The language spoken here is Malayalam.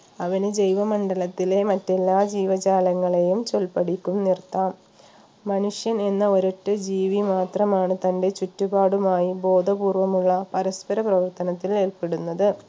അവന് ജൈവമണ്ഡലത്തിലെ മറ്റെല്ലാ ജീവജാലങ്ങളെയും ചൊൽപ്പടിക്കും നിർത്താം മനുഷ്യൻ എന്ന ഒരൊറ്റ ജീവി മാത്രമാണ് തൻറെ ചുറ്റുപാടുമായി ബോധപൂർവ്വമുള്ള പരസ്പര പ്രവർത്തനത്തിൽ ഏർപ്പെടുന്നത്